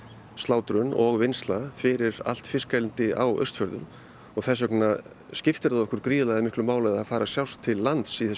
slátrun og vinnsla fyrir allt fiskeldi á Austfjörðum þess vegna skiptir það okkur gríðarlega miklu máli að það fari á sjást til lands í þessu